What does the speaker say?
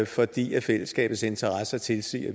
fordi fællesskabets interesser tilsiger